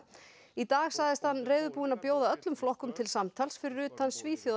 í dag sagðist hann reiðubúinn að bjóða öllum flokkum til samtals fyrir utan